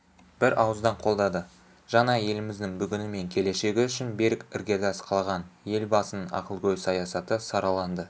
бірауыздан қолдады жаңа еліміздің бүгіні мен келешегі үшін берік іргетас қалаған елбасының ақылгөй саясаты сараланды